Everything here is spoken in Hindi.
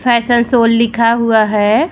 फैशन सोल लिखा हुआ है।